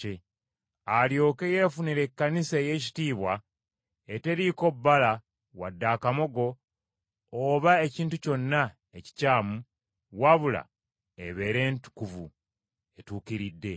alyoke yeefunire Ekkanisa ey’ekitiibwa, eteriiko bbala wadde akamogo oba ekintu kyonna ekikyamu, wabula ebeere entukuvu, etuukiridde.